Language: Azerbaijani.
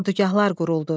Ordugahlar quruldu.